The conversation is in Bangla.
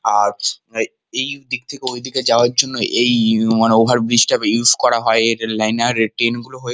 আজ এইদিক থেকে ঐদিক যাওয়ার জন্য এই মানে ওভার ব্রিজ টা ইউজ করা হয় এর লাইনার এ.টি.এম. গুলো হয়ে।